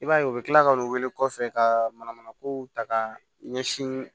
I b'a ye u bɛ tila k'u wele kɔfɛ ka manamana kow ta ka ɲɛsin